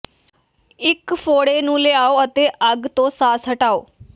ਇੱਕ ਫ਼ੋੜੇ ਨੂੰ ਲਿਆਓ ਅਤੇ ਅੱਗ ਤੋਂ ਸਾਸ ਹਟਾਓ